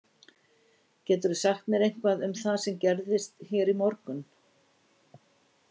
Geturðu sagt mér eitthvað um það sem gerðist hér í morgun?